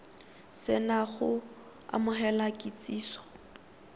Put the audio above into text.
se na go amogela kitsiso